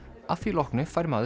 að því loknu fær maður